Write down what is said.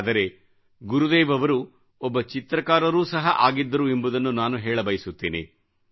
ಆದರೆ ಗುರುದೇವ ಅವರು ಒಬ್ಬ ಚಿತ್ರಕಾರರು ಸಹ ಆಗಿದ್ದರು ಎಂಬುದನ್ನು ನಾನು ಹೇಳಬಯಸುತ್ತೇನೆ